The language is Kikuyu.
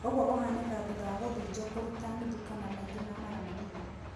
Ũguo ũhanĩkaga thutha wa gũthijo kũruta nuthu kana maingĩ ma mara manini.